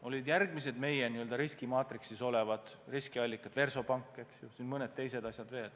Olid järgmised meie n-ö riskimaatriksis olevad riskiallikad, Versobank, eks ole, ja mõned teised juhtumid veel.